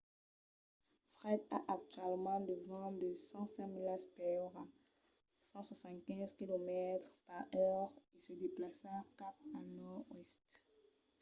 fred a actualament de vents de 105 milas per ora 165 km/h e se desplaça cap al nòrd-oèst